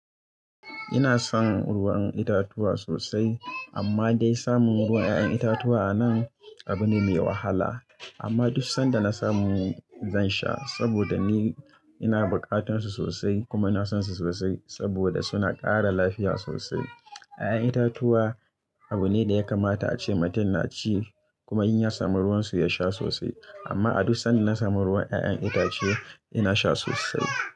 Ina son ruwan itatuwa sosai amma dai samun ruwan 'ya'yan itatuwa a nan abu ne mai wahala. Amma duk sanda na samu zan sha saboda ni ina bukatunsu sosai kuma ina sonsu sosai saboda suna ƙara lafiya sosai. 'Ya'yan itatuwa abu ne da ya kamata ace mutum na ci kuma in ya samu ruwan su ya sha sosai. Amma a duk sanda na samu ruwan 'ya'yan itace ina sha sosai.